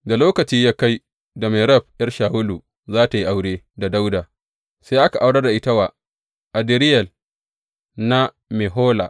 Da lokaci ya kai da Merab ’yar Shawulu za tă yi aure da Dawuda, sai aka aurar da ita wa Adriyel na Mehola.